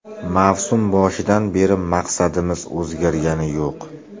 Mavsum boshidan beri maqsadimiz o‘zgargani yo‘q.